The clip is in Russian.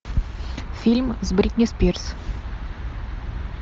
фильм с бритни спирс